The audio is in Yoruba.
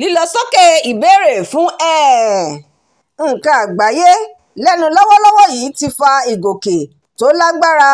lílọ sókè ìbéèrè fún um nǹkan àgbáyé lẹ́nu lọ́wọ́lọ́wọ́ yìí ti fa ìgòkè tó lágbára